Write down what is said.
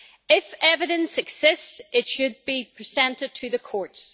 If evidence exists, it should be presented to the courts.